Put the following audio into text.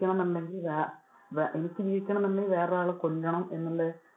ജീവിക്കണം ന്നുണ്ടെകില്‍ വേ~ എനിക്ക് ജീവിക്കണം എന്നുണ്ടെങ്കിൽ വേറെ ഒരാളെ കൊല്ലണം എന്നുള്ള